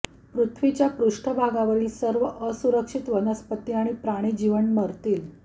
पृथ्वीच्या पृष्ठभागावरील सर्व असुरक्षित वनस्पती आणि प्राणी जीवन मरतील